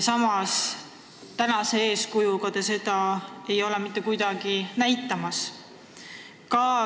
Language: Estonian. Samas pole te selles valdkonnas mitte sugugi eeskuju näidanud.